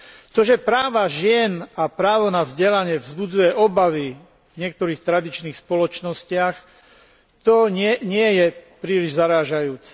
To, že práva žien a právo na vzdelanie vzbudzuje obavy v niektorých tradičných spoločnostiach, nie je príliš zarážajúce.